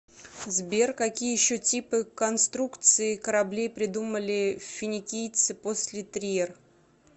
сбер какие еще типы конструкций кораблей придумали финикийцы после триер